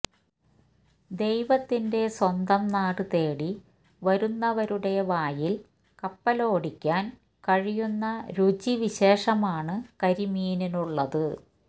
ദൈവത്തിന്റെ സ്വന്തം നാട് തേടി വരുന്നവരുടെ വായില് കപ്പോലടിയ്ക്കാന് കഴിയുന്ന രുചി വിശേഷമാണ് കരിമീനിനുള്ളത്